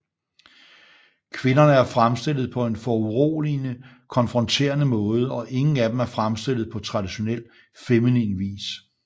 Kvinderne er fremstillet på en foruroligende konfronterende måde og ingen af dem er fremstillet på traditionel feminin vis